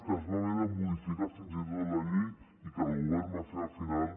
que es va haver de modificar fins i tot la llei i que el govern va fer al final